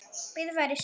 Bíður færis.